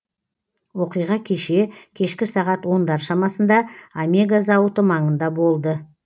оқиға кеше кешкі сағат ондар шамасында омега зауыты маңында болды